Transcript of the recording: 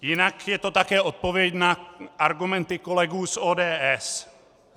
Jinak je to také odpověď na argumenty kolegů z ODS.